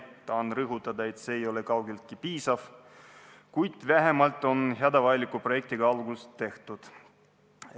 Tahan rõhutada, et see ei ole kaugeltki piisav, kuid vähemalt on hädavajaliku projektiga algust tehtud.